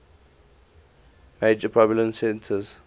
major population centers